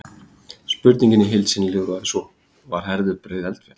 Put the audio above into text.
Spurningin í heild sinni hljóðaði svo: Var Herðubreið eldfjall?